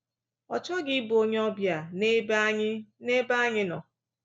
Ọ chọghị ịbụ onyeọbịa n’ebe anyị n’ebe anyị nọ.